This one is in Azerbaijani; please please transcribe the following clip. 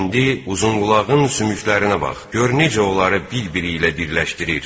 İndi uzunqulağın sümüklərinə bax, gör necə onları bir-biri ilə birləşdirir.